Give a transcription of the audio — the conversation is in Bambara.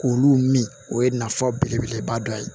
K'olu min o ye nafa belebeleba dɔ ye